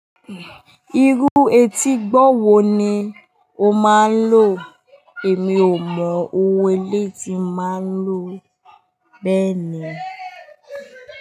Irú etí gbọ́ wo ni o máa ń lò? Èmi ò mọ owó ilé tí máa ń lò bẹ́ẹ̀ni.